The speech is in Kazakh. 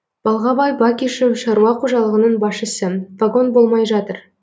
балғабай бакишев шаруа қожалығының басшысы вагон болмай жатыр